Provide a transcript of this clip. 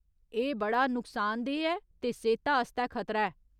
एह् बड़ा नुक्सानदेह् ऐ ते सेह्ता आस्तै खतरा ऐ।